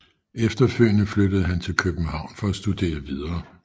Efterfølgende flyttede han til København for at studere videre